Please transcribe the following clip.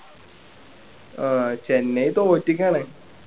ആഹ് Chennai തോറ്റിക്കാണ്